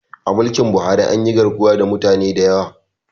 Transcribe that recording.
A mulkin Buhari anyi garkuwa da mutane da yawa